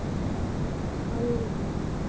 Hallveig